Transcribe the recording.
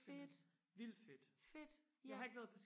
fedt fedt ja